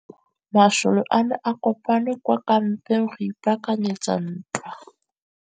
Masole a ne a kopane kwa kampeng go ipaakanyetsa ntwa.